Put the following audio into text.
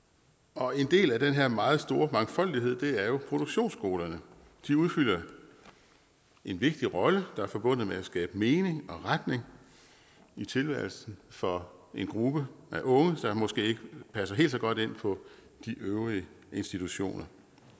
og en del af den her meget store mangfoldighed er jo produktionsskolerne de udfylder en vigtig rolle der er forbundet med at skabe mening og retning i tilværelsen for en gruppe af unge der måske ikke passer helt så godt ind på de øvrige institutioner